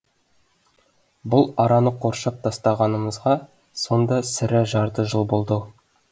бұл араны қоршап тастағанымызға сонда сірә жарты жыл болды ау